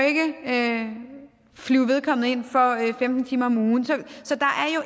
ikke flyve vedkommende ind for femten timer om ugen så der